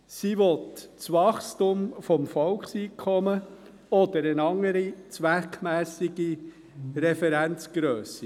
Sie will das Wachstum des Volkseinkommens oder eine andere zweckmässige Referenzgrösse.